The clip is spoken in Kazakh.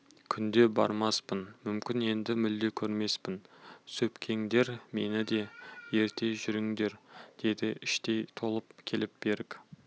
күнде бармаспын мүмкін енді мүлде көрмеспін сөкпеңдер мені де ерте жүріңдер деді іштей толқып келіп берік